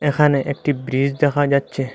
এখানে একটি ব্রীজ দেখা যাচ্ছে।